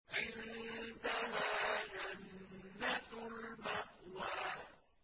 عِندَهَا جَنَّةُ الْمَأْوَىٰ